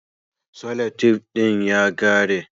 Solatif din ya ƙare.